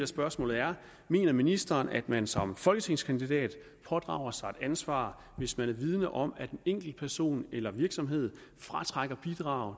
spørgsmål er mener ministeren at man som folketingskandidat pådrager sig et ansvar hvis man er vidende om at en enkeltperson eller en virksomhed fratrækker bidrag